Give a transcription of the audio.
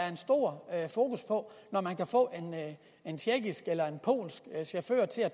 stor fokus på man kan få en tjekkisk eller en polsk chauffør til at